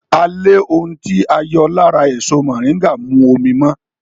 À lè ohun tí a yọ lára èso mọ̀ríńgà mú omi mọ́